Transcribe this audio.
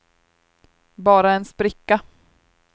bara en spricka